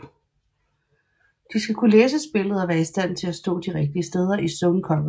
De skal kunne læse spillet og være i stand til at stå de rigtige steder i zone coverage